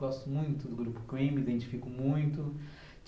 Gosto muito do grupo Queen, me identifico muito.